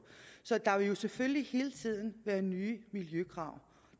så der vil jo selvfølgelig hele tiden være nye miljøkrav